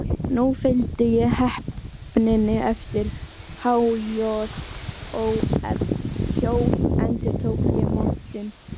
Nú fylgdi ég heppninni eftir: há-joð-ó-ell: hjól, endurtók ég montinn.